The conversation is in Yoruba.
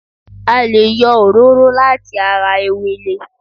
A lè yọ òróró láti ara ewele